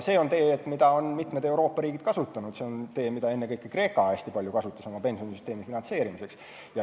See on tee, mida mitmed Euroopa riigid on kasutanud, ennekõike Kreeka oma pensionisüsteemi finantseerimiseks.